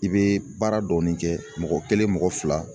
I bɛ baara dɔɔnin kɛ mɔgɔ kelen mɔgɔ fila